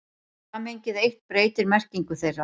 Samhengið eitt breytir merkingu þeirra.